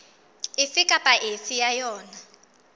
efe kapa efe ya yona